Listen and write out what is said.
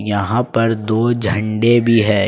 यहां पर दो झंडे भी है।